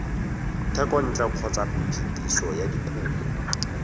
thekontle kgotsa phetiso ya dikumo